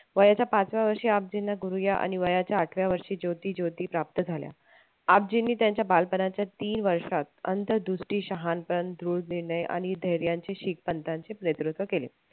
वयाच्या पाचव्या वर्षी गुरु या आणि वयाच्या आठव्या वर्षी ज्योती ज्योती प्राप्त झाल्या त्यांच्या बालपणाच्या तीन वर्षात धैर्याचे शीख पंथाचे नेतृत्व केले.